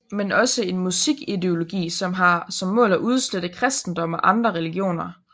Men også en musik ideologi som har som mål at udslette kristendom og andre religioner